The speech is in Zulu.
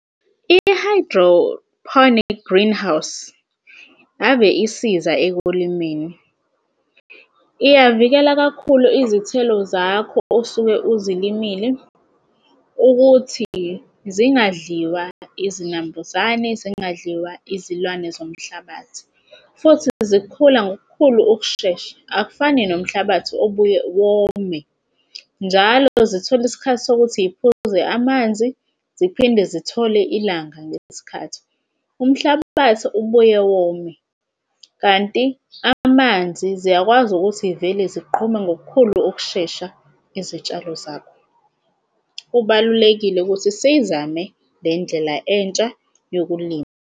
I-hydrophonic greenhouse ave isiza ekulimeni. Iyavikela kakhulu izithelo zakho osuke uzilimile ukuthi zingadliwa izinambuzane zingadliwa izilwane zomhlabathi futhi zikhula ngokukhulu ukushesha akufani nomhlabathi obuye wome njalo zithole isikhathi sokuthi y'phuze amanzi ziphinde zithole ilanga ngaleso sikhathi. Umhlabathi ubuye wome kanti amanzi ziyakwazi ukuthi y'vele ziqhume ngokukhulu ukushesha izitshalo zakho. Kubalulekile ukuthi siyizame le entsha yokulima.